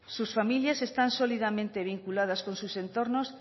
sus familias están sólidamente vinculadas con sus entornos